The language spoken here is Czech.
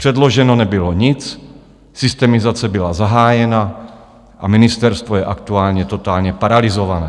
Předloženo nebylo nic, systemizace byla zahájena a ministerstvo je aktuálně totálně paralyzované.